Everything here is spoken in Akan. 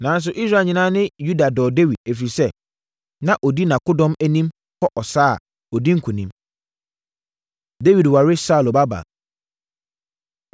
Nanso, Israel nyinaa ne Yuda dɔɔ Dawid, ɛfiri sɛ, na ɔdi nʼakodɔm anim kɔ sa a, ɔdi nkonim. Dawid Ware Saulo Babaa